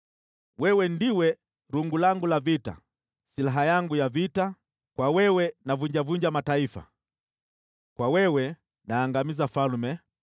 “Wewe ndiwe rungu langu la vita, silaha yangu ya vita: kwa wewe navunjavunja mataifa, kwa wewe naangamiza falme,